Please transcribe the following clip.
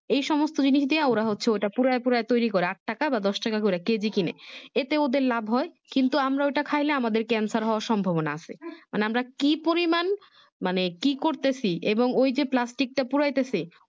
এই সমস্ত জিনিস দিয়া মানে ওরা হচ্ছে ঐটা পুড়ায়া পাড়ুয়া ট্যুরে করে আট টাকা বা দশ টাকা করে কেজি কিনে এতে ওদের লাভ হয় কিন্তু আমরা ওইটা খাইলে আমাদের canshare হওয়ার সম্ভবনা আছে মানে আমরা কি পরিমান মানে কি করতেছি এবং ওই যে Plastic টা পুড়াইতেছে